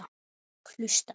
Og hlusta.